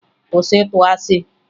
Kwụsị ịtụ asị!